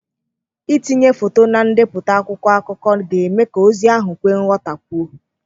Ịtinye foto na ndepụta akwụkwọ akụkọ ga-eme ka ozi ahụ kwee ghọtakwuo.